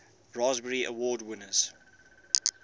raspberry award winners